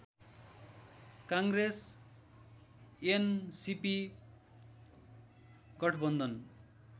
Congress NCP गठबन्धन